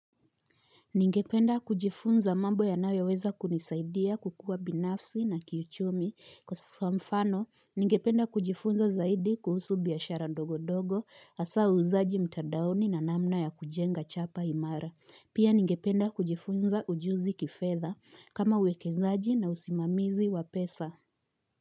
Ningependa kujifunza mambo yanayoweza kunisaidia kukua binafsi na kiuchumi kwa mfano, ningependa kujifunza zaidi kuhusu biashara ndogo-dogo hasa uuzaji mtandaoni na namna ya kujenga chapa imara. Pia ningependa kujifunza ujuzi kifedha kama uwekezaji na usimamizi wa pesa.